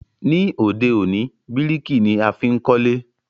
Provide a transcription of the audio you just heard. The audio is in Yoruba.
Ní òde òní, bíríkì ni a fi n kólé